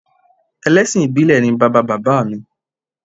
Ẹlẹ́sìn ìbílẹ̀ ni bàbá bàbá mi